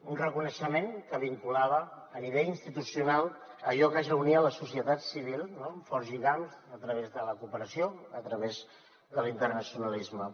un reconeixement que vinculava a nivell institucional allò que ja unia la societat civil amb forts lligams a través de la cooperació a través de l’internacionalisme